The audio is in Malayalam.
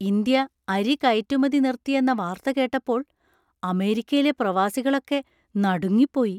ഇന്ത്യ അരി കയറ്റുമതി നിർത്തിയെന്ന വാർത്ത കേട്ടപ്പോൾ അമേരിക്കയിലെ പ്രവാസികളൊക്കെ നടുങ്ങിപ്പോയി.